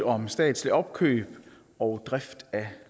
om statsligt opkøb og drift af